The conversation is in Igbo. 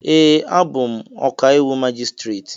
Ee, abụ m ọkàiwụ majistreti